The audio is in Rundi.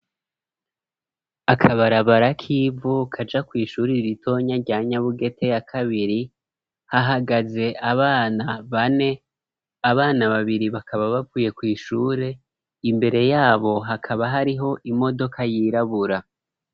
Akabarabara k'ivu kaja kw'ishuri ritoya rya Nyabugete ya kabiri, hahagaze abana bane, abana babiri bakaba bavuye kw'ishure, imbere yabo hakaba hariho imodoka yirabura.